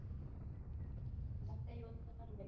મનગાઈ તો સારું હતું